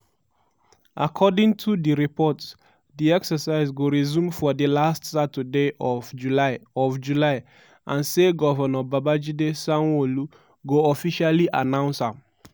according to di reports di exercise go resume for di last saturday of july of july and say govnor babajide sanwo-olu go officially announce am.